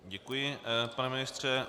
Děkuji, pane ministře.